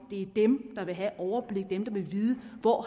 det er dem der vil have overblik dem der vil vide hvor